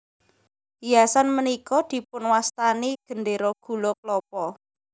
Hiasan punika dipun wastani Gendera Gula Klapa